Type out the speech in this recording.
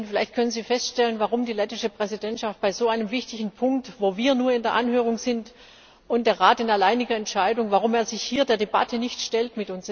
Frau Präsidentin, vielleicht können Sie feststellen, warum die lettische Präsidentschaft bei so einem wichtigen Punkt, wo wir nur in der Anhörung sind und der Rat in alleiniger Entscheidung, sich hier der Debatte mit uns nicht stellt.